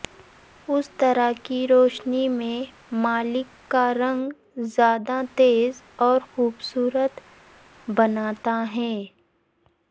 اس طرح کی روشنی میں مالک کا رنگ زیادہ تیز اور خوبصورت بناتا ہے